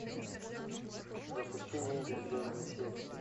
запусти ниндзя из беверли хиллз